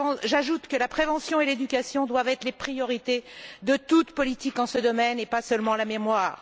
J'ajoute que la prévention et l'éducation doivent être les priorités de toute politique en la matière et pas seulement la mémoire.